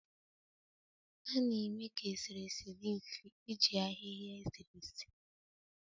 A na-eme ka eserese dị mfe iji ahịhịa eserese